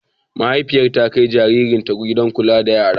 Mahaifiyar ta kai jaririnta gidan kula da yara.